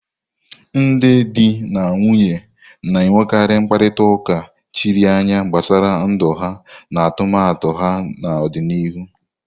Ndị di na nwunye na-enwekarị mkparịta ụka chiri anya gbasara ndụ ha na atụmatụ ha n'ọdịnihu.